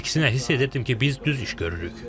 Əksinə hiss edirdim ki, biz düz iş görürük.